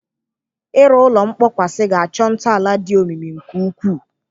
Ịrụ ụlọ nkpọkwasị ga-achọ ntọala dị omimi nke ukwuu.